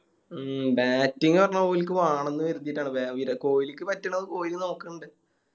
ഉം Batting പറഞ്ഞ ഓലിക്ക് വാണന്ന് കരുതിട്ടാണ് ബ വിര കോഹ്ലിക്ക് പറ്റണത് കോഹ്ലി നോക്കണിണ്ട്